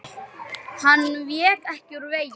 Hann vék ekki úr vegi.